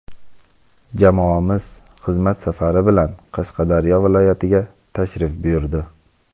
Jamoamiz xizmat safari bilan Qashqadaryo viloyatiga tashrif buyurdi.